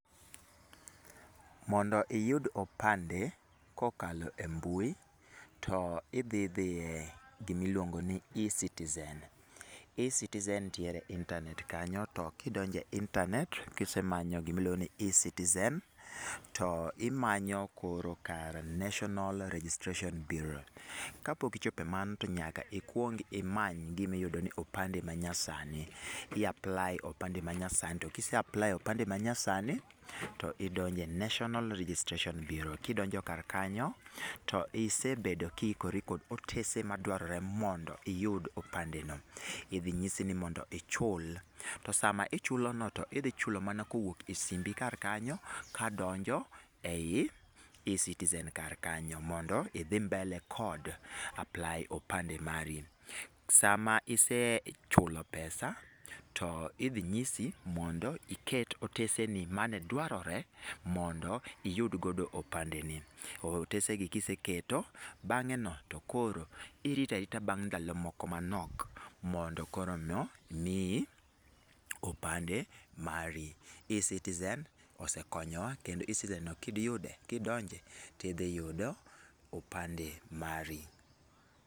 Mondo iyud opande kokalo e mbui, to idhi dhi e gimiluongo ni eCitizen. eCitizen nitiere e intanet kanyo to kidonje intanet kisemanyo gimiluongo ni eCitizen to imanyo koro kar National registration Burea. Kapok ichopo e mano to nyaka ikwong imany gimiyudo ni opande manyasani, i apply opande manyasani to kise apply opande manyasani, to idonjo e National Registration Bureau kidonjo kar kanyo, to isebedo kiikori kod otese madwarore mondo iyud opande no. Idhi nyisi ni mondo ichul, to sama ichulono to idhi chulo mana kowuok e simbi karkanyo kadonjo e i eCitizen karkanyo mondo idhi mbele kod apply opande mari. Sama isechulo pesa to idhi nyisi mondo iket oteseni mane dwarore mondo iyud godo opandeni. Otesegi kiseketo bang'eno to koro irita arita bang' ndalo moko manok mondo korono miyi opande mari. eCitizen osekonyowa kendo eCitizen no kidonje tidhiyudo opande mari.